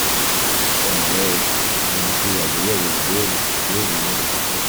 ẹnlẹ́ o mo ti ṣe àgbéyẹ̀wò ìbéèrè ìbéèrè yín ní kíkún